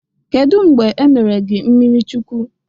Kedụ mgbe e mere gi mmirichukwu?